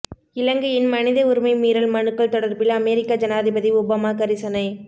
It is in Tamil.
இலங்கையின் மனித உரிமை மீறல் மனுக்கள் தொடர்பில் அமெரிக்க ஜனாதிபதி ஒபாமா கரிசனை